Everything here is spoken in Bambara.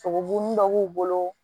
Sogobu dɔ b'u bolo